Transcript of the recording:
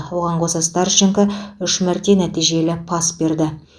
оған қоса старченко үш мәрте нәтижелі пас берді